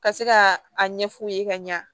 Ka se ka a ɲɛfu ye ka ɲa